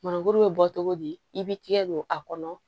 Maninkakuru bɛ bɔ cogo di i b'i tɛgɛ don a kɔnɔ